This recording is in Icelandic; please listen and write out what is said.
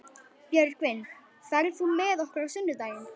Björgvin, ferð þú með okkur á sunnudaginn?